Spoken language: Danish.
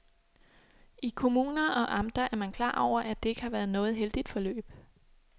I kommuner og amter er man klar over, at det ikke har været noget heldigt forløb.